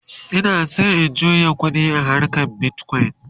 Ina San in juya ƙuɗi a harkan bitcoin